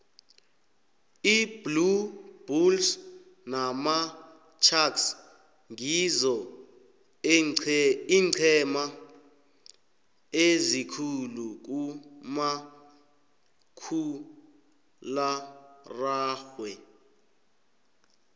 iblue bulles namasharks ngizo eencema ezikhulu kumakhkhulararhwe